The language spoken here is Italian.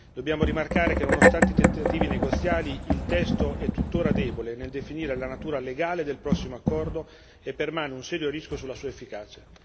Dobbiamo rimarcare che, nonostante i tentativi negoziali, il testo è tuttora debole nel definire la natura legale del prossimo accordo e permane un serio rischio sulla sua efficacia.